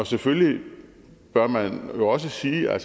selvfølgelig bør man jo også sige at